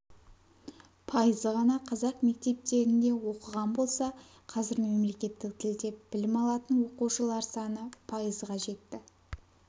пайызы ғана қазақ мектептерінде оқыған болса қазір мемлекеттік тілде білім алатын оқушылар саны пайызға жетті